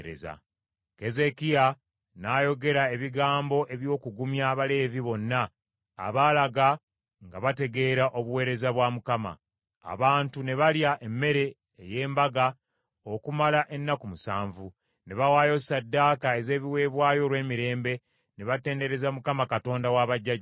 Keezeekiya n’ayogera ebigambo eby’okugumya Abaleevi bonna abaalaga nga bategeera obuweereza bwa Mukama . Abantu ne balya emmere ey’embaga okumala ennaku musanvu, ne bawaayo ssaddaaka ez’ebiweebwayo olw’emirembe, ne batendereza Mukama Katonda wa bajjajjaabwe.